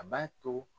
A b'a to